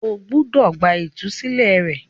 o gbúdọ̀ gba “ ìtúsílẹ̀ ” rẹ.